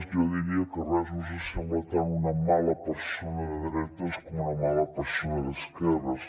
jo diria que res no s’assembla tant a una mala persona de dretes com una mala persona d’esquerres